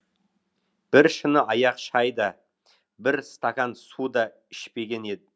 бір шыны аяқ шай да бір стақан су да ішпеген еді